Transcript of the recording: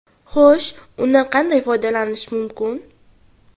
Xo‘sh, undan qanday foydalanish mumkin?